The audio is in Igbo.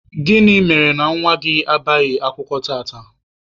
Gịnị mere na nwa gị abịaghị akwụkwọ tata?